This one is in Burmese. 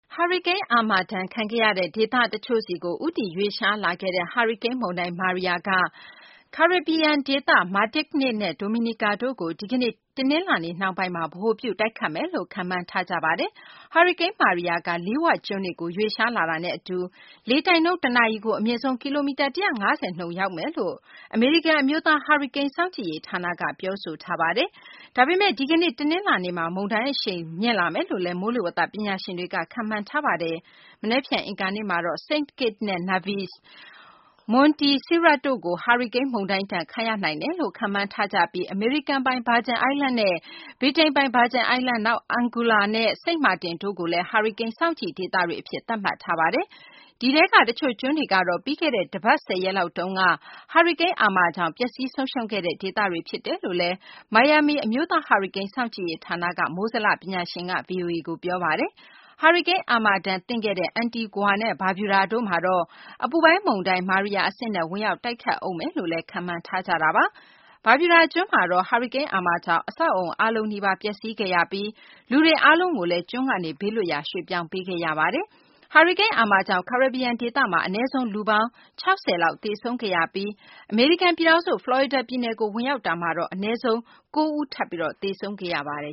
ဟာရီကိန်း အာမာဒဏ်ခံခဲ့ရတဲ့ ဒေသ တချို့ဆီကို ဦးတည် ရွေ့လျားလာခဲ့တဲ့ ဟာရီကိန်း မုန်တိုင်း Maria က ကာရစ်ဘီယံ ဒေသ Martinique နဲ့ Dominica တို့ကိုဒီကနေ့ တနလာၤနေ့ နှောင်းပိုင်းမှာ ဗဟိုပြု တိုက်ခတ်မယ်လို့ ခန့်မှန်းထားကြပါတယ်။ ဟာရီကိန်း Maria က Leeward ကျွန်းတွေကို ရွေ့လျားလာတာနဲ့ အတူ လေတိုက်နှုန်း တနာရီကို အမြင့်ဆုံး ကီလိုမီတာ ၁၅၀ နှုန်းနဲ့ ရောက်မယ်လို့ အမေရိကန် အမျိုးသား ဟာရီကိန်း စောင့်ကြည့်ရေး ဌာနက ပြောဆိုထားတာပါ။ ဒါပေမယ့် ဒီကနေ့ တနလာၤနေ့မှာ မုန်းတိုင်း အရှိန်ပြင်းလာမယ်လို့လည်း မိုးလေဝသ ပညာရှင်တွေက ခန့်မှန်းထားပါတယ်။ မနက်ဖြန် အင်္ဂါနေ့မှာတော့ St. Kitts နဲ့ Nevis၊ Montserrat တို့ ဟာရီကိန်း မုန်တိုင်းဒဏ်ခံရနိုင်တယ်လို့ ခန့်မှန်းထားကြပြီး အမေရိကန်ပိုင် Vrigin Islands နဲ့ ဗြိတိန်ပိုင် Virgins Islands ၊ နောက် Anguilla နဲ့ စိန့်မာတင်တို့ကိုလည်း ဟာရီကိန်း စောင့်ကြည့်ဒေသတွေ အဖြစ် သတ်မှတ်ထားပါတယ်။ ဒီထဲက တချို့ကျွန်းတွေကတော့ ပြီးခဲ့တဲ့ တပတ် - ၁၀ ရက်လောက်တုန်းက ဟာရီကိန်း အာမာကြောင့် ပျက်စီး ဆုံးရှုံးခဲ့တဲ့ ဒေသတွေ ဖြစ်တယ်လို့လည်း မိုင်ယာမီ အမျိုးသား ဟာရီကိန်း စောင့်ကြည့်ရေး ဌာနက မိုးဇလ ပညာရှင် Dennis Feltgen က ဗွီအိုအေကို ပြောပါတယ်။ ဟာရီကိန်း အာမာဒဏ် သင့်ခဲ့တဲ့ အန်တီဂွာနဲ့ ဘာဗျူဒါတို့မှာတော့ အပူပိုင်း မုန်တိုင်း မာရီယာ အဆင့်နဲ့ ဝင်ရောက် တိုက်ခတ်ဦးမယ်လို့လည်း ခန့်မှန်းထားကြပါတယ်။ ဘာဗျူဒါ ကျွန်းမှာတော့ ဟာရီကိန်း အာမာကြောင့် အဆောက်အအုံအားလုံး နီးပါး ပျက်စီးခဲ့ရပြီး လူတွေအားလုံးကိုလည်း ကျွန်းကနေ ဘေးလွတ်ရာ ရွှေ့ပြောင်းပေးခဲ့ရတာပါ။ ဟာရီကိန်း အာမာကြောင့် ကာရစ်ဘီယံ ဒေသမှာ အနည်းဆုံး လူပေါင်း ၆၀ လောက် သေဆုံးခဲ့ရပြီး အမေရိကန် ပြည်ထောင်စု ဖလော်ရီဒါ ပြည်နယ်ကို ဝင်ရောက်တာမှာတော့ အနည်းဆုံး ၉ ဦး ထပ်ပြီး သေဆုံးခဲ့ရတာ ဖြစ်ပါတယ